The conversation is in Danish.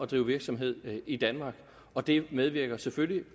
drive virksomhed i danmark og det medvirker selvfølgelig